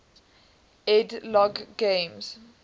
ed logg games